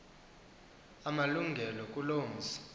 amalungelo kuloo mzi